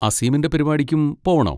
അസീമിൻ്റെ പരിപാടിക്കും പോവണോ?